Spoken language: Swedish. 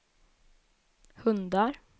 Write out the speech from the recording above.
hundar